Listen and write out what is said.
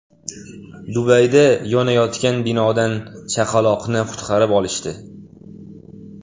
Dubayda yonayotgan binodan chaqaloqni qutqarib olishdi.